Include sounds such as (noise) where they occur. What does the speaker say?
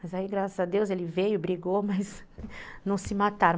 Mas aí, graças a Deus, ele veio, brigou, (laughs) mas não se mataram.